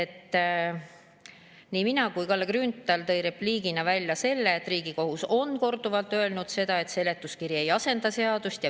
Tõin nii mina kui ka tõi Kalle Grünthal repliigina välja, et Riigikohus on korduvalt öelnud, et seletuskiri ei asenda seadust.